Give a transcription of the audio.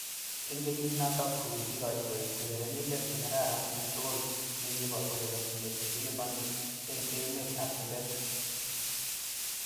Eng kenyit noto kokikikochi koek urerenindet ne kararan eng tugul, nekipo urerenindet nikiliponi eng emet ab chumbek.